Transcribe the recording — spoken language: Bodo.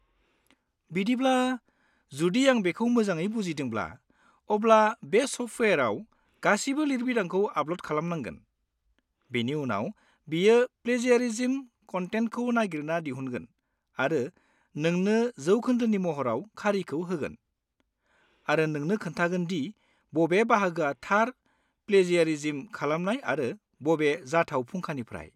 बिदिब्ला, जुदि आं बेखौ मोजाङै बुजिदोंब्ला, अब्ला बे सफ्टवेयाराव गासिबो लिरबिदांखौ आपल'ड खालामनांगोन, बेनि उनाव बियो प्लेजियारिज्म कनटेन्टखौ नागिरना दिहुनगोन आरो नोंनो जौखोन्दोनि महराव खारिखौ होगोन, आरो नोंनो खोन्थागोन दि बबे बाहागोआ थार प्लेजियारिज्म खालामनाय आरो बबे जाथाव फुंखानिफ्राय।